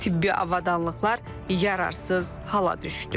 Tibbi avadanlıqlar yararsız hala düşdü.